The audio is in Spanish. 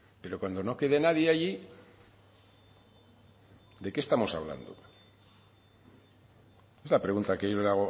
pero cuando no quede nadie allí de qué estamos hablando es la pregunta que yo le